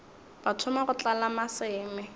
ba thoma go tlala maseme